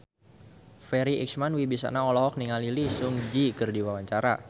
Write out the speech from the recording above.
Farri Icksan Wibisana olohok ningali Lee Seung Gi keur diwawancara